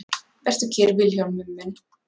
Vertu kyrr Vilhjálmur minn.